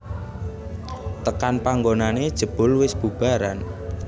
Tekan panggonané jebul wis bubaran